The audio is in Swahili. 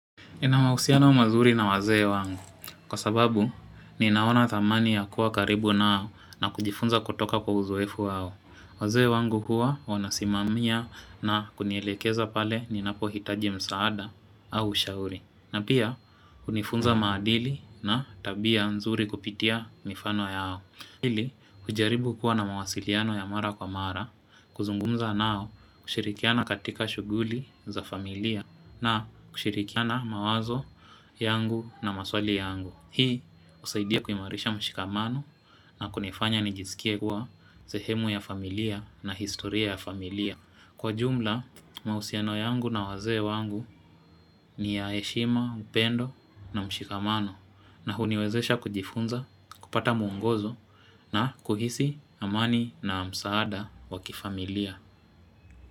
Ninamahusiano mazuri na wazee wangu. Kwa sababu, niinaona thamani ya kuwa karibu nao na kujifunza kutoka kwa uzoefu wao. Wazee wangu huwa wanasimamia na kunielekeza pale ninapo hitaji msaada au ushauri. Na pia, unifunza maadili na tabia nzuri kupitia mifano yao. Hili ujaribu kuwa na mawasiliano ya mara kwa mara kuzungumza nao kushirikiana katika shuguli za familia na kushirikiana mawazo yangu na maswali yangu. Hii usaidia kuimarisha mshikamano na kunifanya nijisikie kuwa sehemu ya familia na historia ya familia. Kwa jumla, mausiano yangu na wazee wangu ni ya eshima, upendo na mshikamano na huniwezesha kujifunza, kupata mwongozo na kuhisi amani na msaada wakifamilia.